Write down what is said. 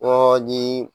Ɔ ni